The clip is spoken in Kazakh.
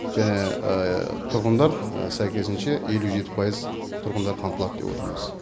тұрғындар сәйкесінше елу жеті пайыз тұрғындар қамтылады деп отырмыз